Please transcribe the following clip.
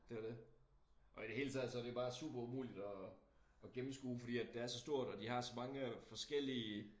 Det jo dét og i det hele taget så det jo bare super umuligt at at gennemskue fordi det er så stort og der har så mange øh forskellige